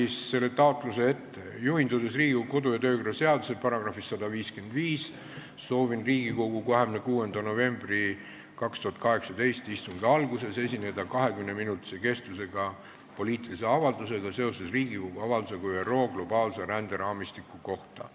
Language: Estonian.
Ma loen selle taotluse ette: "Juhindudes Riigikogu kodu- ja töökorra seaduse §-st 155, soovin Riigikogu 26. novembri 2018 istungi alguses esineda 20-minutise kestvusega poliitilise avaldusega seoses Riigikogu avaldusega "ÜRO globaalse ränderaamistiku kohta".